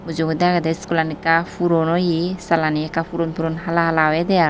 Mujungodi agede schoolan ekka puron oye salani ekka puran puron hala hala oyede aai.